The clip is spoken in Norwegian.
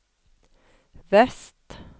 vest